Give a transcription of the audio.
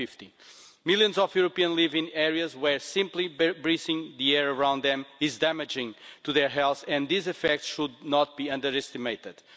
2050. Millions of Europeans live in areas where simply breathing the air around them is damaging to their health, and these effects should not be underestimated.